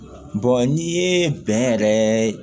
n'i ye bɛnɛ yɛrɛ